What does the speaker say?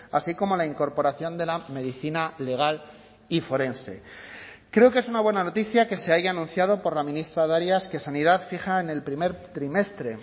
así como la incorporación de la medicina legal y forense creo que es una buena noticia que se haya anunciado por la ministra darias que sanidad fija en el primer trimestre